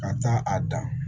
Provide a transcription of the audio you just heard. Ka taa a dan